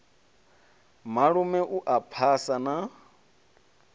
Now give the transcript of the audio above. malume u a phasa na